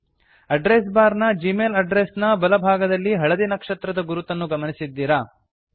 address bar ನ Gmail address ನ ಬಲ ಭಾಗದಲ್ಲಿ ಹಳದಿ ನಕ್ಷತ್ರದ ಗುರುತನ್ನು ಗಮನಿಸಿದ್ದೀರಾ